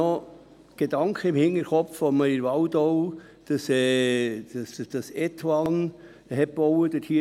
Ich erinnere mich noch, als man in der Waldau die Station «Etoine» baute.